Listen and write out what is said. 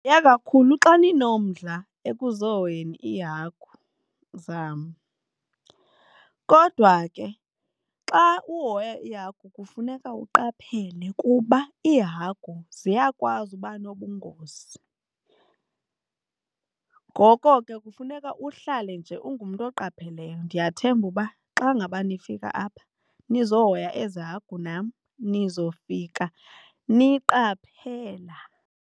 Ndivuya kakhulu xa ninomdla ekuzohoyeni iihagu zam, kodwa ke xa uhoya iihagu kufuneka uqaphele kuba iihagu ziyakwazi uba nobungozi. Ngoko ke kufuneka uhlale nje ungumntu oqapheleyo. Ndiyathemba uba xa ngaba nifika apha ndizohoya ezi hagu nam nizofika niqaphela.